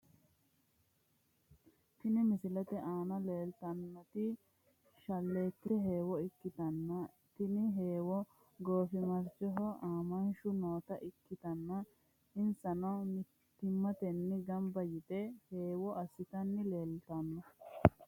Tini misilete aana leeltannoti shalleetete heewo ikkitanna tini heewono goofimarchoho aamanshu noota ikkitanna, insanno mittimmatenni gamba yite heewo harissanni leeltanno.